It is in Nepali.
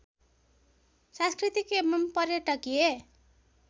सांस्कृतिक एवं पर्यटकीय